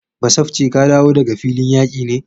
Basafce ka dawo daga filin yaki ne?